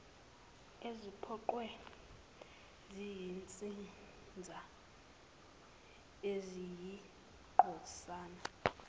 eziphoqwe yizinsiza eziyingcosana